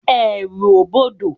Èrù o bọdọ